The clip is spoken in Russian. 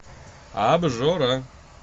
обжора